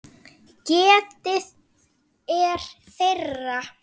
Getið er þeirra.